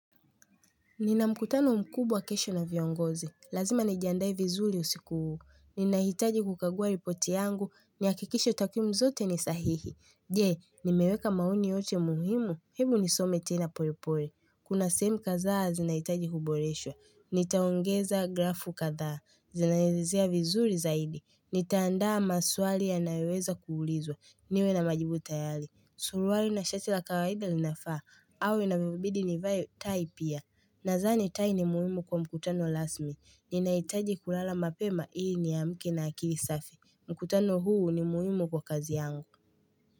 Nina mkutano mkubwa kesho na viongozi. Lazima nijiandae vizuri usiku huu. Ninahitaji kukagua ripoti yangu. Nihakikishe takwimu zote ni sahihi. Je, nimeweka maoni yote muhimu. Hebu nisome tena pole pole. Kuna sehemu kadhaa zinahitaji kuboreshwa. Nitaongeza grafu katha. Zinaelezea vizuri zaidi. Nitaandaa maswali yanayoweza kuulizwa. Niwe na majibu tayari. Suruali na shati la kawaida linafaa au inanibidi nivae tai pia Nadhani tai ni muhimu kwa mkutano rasmi Ninahitaji kulala mapema iIi niamke na akili safi mkutano huu ni muhimu kwa kazi yangu.